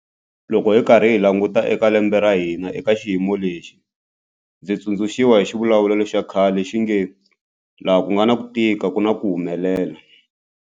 Loko hi karhi hi languta eka lembe ra hina eka xiyimo lexi, ndzi tsundzuxiwa hi xivulavulelo xa khale lexi nge 'laha ku nga na ku tika ku na ku humelel'.